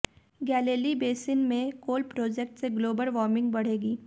Galilee basin में coal project से global warming बढ़ेगी